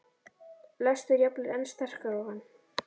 lestur jafnvel enn sterkar á hann.